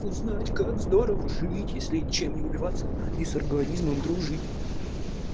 узнать как здорово жить если ничем не убиваться и с организмом дружить